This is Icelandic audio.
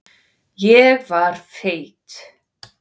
Ég var feit.